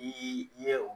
N'i ye o